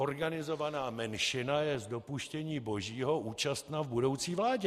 Organizovaná menšina je z dopuštění božího účastna v budoucí vládě.